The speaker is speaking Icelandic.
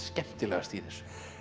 skemmtilegast í þessu